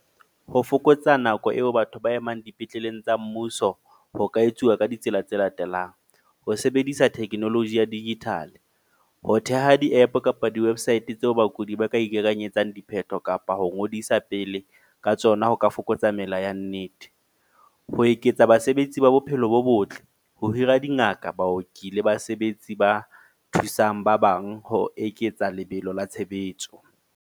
Ho fokotsa nako eo batho ba emang dipetleleng tsa mmuso. Ho ka etsuwa ka ditsela tse latelang, ho sebedisa technology ya digital. Ho theha di-app kapa di-website tseo bakudi ba ka itekanyetsa dipheto, kapa ho ngodisa pele ka tsona ho ka fokotsa mela ya nnete. Ho eketsa basebetsi ba bophelo bo botle. Ho hira dingaka, baoki le basebetsi ba thusang ba bang, ho eketsa lebelo la tshebetso.